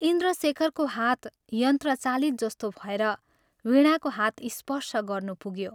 इन्द्रशेखरको हात यन्त्रचालित जस्तो भएर वीणाको हात स्पर्श गर्नु पुग्यो।